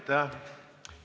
Aitäh!